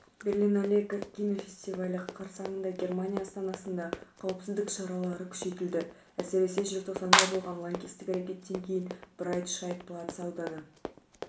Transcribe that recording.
берлинале кинофестивалі қарсаңында германия астанасында қауіпсіздік шаралары күшейтілді әсіресе желтоқсанда болған лаңкестік әрекеттен кейін брайт-шайт-платц ауданы